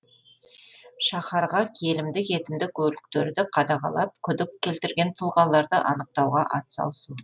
шаһарға келімді кетімді көліктерді қадағалап күдік келтірген тұлғаларды анықтауға атсалысу